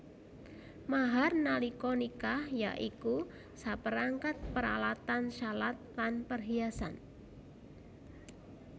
Mahar nalika nikah ya iku saperangkat paralatan shalat lan perhiasan